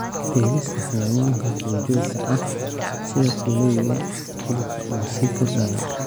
Beerista xayawaanka duurjoogta ah sida kuleyga hilibka oo sii kordhaya.